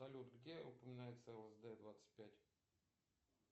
салют где упоминается лсд двадцать пять